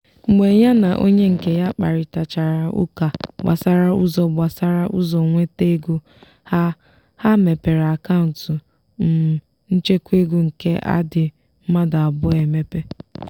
mgbe ya na onye nke ya kparịtachara ụka gbasara ụzọ gbasara ụzọ nweta ego ha ha mepere akant um nchekwa ego nke adị mmadụ abụọ emepe.